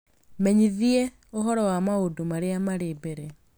menyithie ũhoro wa maũndũ marĩa marĩ mbere